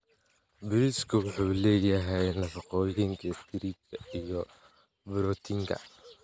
Bariiska wuxuu leeyahay nafaqooyinka istaarijka iyo borotiinka.